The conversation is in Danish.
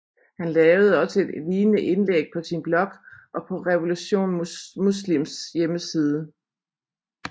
Han lavede også et lignende indlæg på sin blog og på Revolution Muslims hjemmeside